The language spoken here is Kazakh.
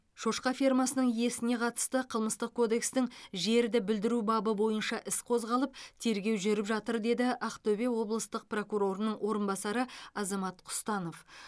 шошқа фермасының иесіне қатысты қылмыстық кодекстің жерді бүлдіру бабы бойынша іс қозғалып тергеу жүріп жатыр деді ақтөбе облыстық прокурорының орынбасары азамат құстанов